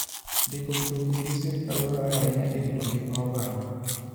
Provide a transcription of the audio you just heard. Ndiko mtokni gi sirkal dwarore ahinya e rito ngima oganda.